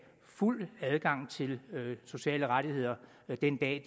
fuld adgang til sociale rettigheder den dag